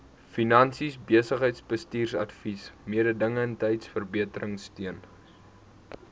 finansies besigheidsbestuursadvies mededingendheidsverbeteringsteun